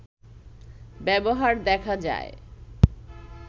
ব্যবহার দেখা যায়